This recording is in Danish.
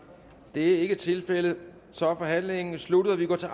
det er ikke tilfældet så er forhandlingen sluttet og vi går til